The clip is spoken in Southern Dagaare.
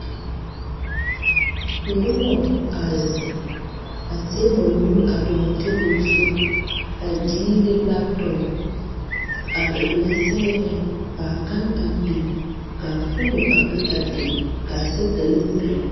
Nobɔ a zeŋ a zege ba nuure a dɔgle tabol zu a diire laptɔp ka ba mine sɛgrɛ kaa gan a bin kaa foomo a be a be kaa sɛgedalee meŋ bebe.